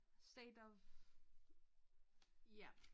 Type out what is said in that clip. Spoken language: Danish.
State of ja